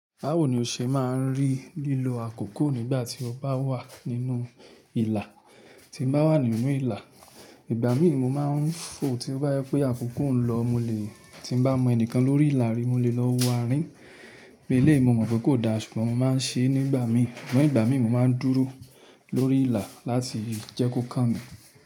Báwo ni o ṣe máa ń rí lílo àkókò nígbà tí o bá wà nínú ìlà. Tí mo bá wà nínú ìlà, ìgbà mí mo máa ń fò, to bá yẹ pé àkókò nlọ mo lè, tí bá mọ ẹnìkan lórí ìlà rí mo lè lọ wo àárín. Eléyìí mo mọ̀ pé kò da ṣùgbọ́n mo máa ń ṣe é nígbà mí. Nigba mi mo máa ń dúró lórí ìlà láti jẹ́ kó kàn mí.